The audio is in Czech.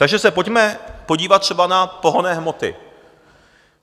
Takže se pojďme podívat třeba na pohonné hmoty.